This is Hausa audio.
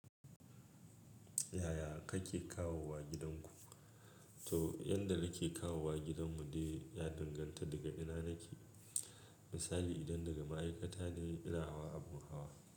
Yaya kake kawowa gidanku? To, ƴan da nake kawowa gidan mu dai ya danganta daga ina nake. Misali idan daga ma'aikata ne ina hawa abu hawa.